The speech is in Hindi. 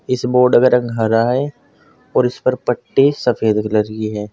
इस बोर्ड का रंग हरा है और इस पर पट्टी सफेद कलर की है।